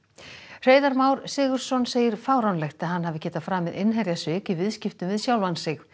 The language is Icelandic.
Hreiðar Már Sigurðsson segir fáránlegt að hann hafi getað framið innherjasvik í viðskiptum við sjálfan sig